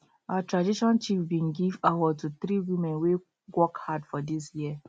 our tradition chief bin give award to three women wey work hard for dis year